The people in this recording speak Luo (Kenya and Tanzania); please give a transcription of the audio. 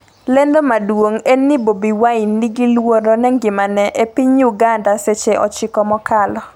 lendo maduong' en ni Bobi Wine 'ni gi luoro ne ngimane' e piny Uganda seche 9 mokalo